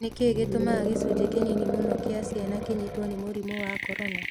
Nĩ kĩĩ gĩtũmaga gĩcunjĩ kĩnini mũno kĩa ciana kĩnyitwo nĩ mũrimũ wa Corona?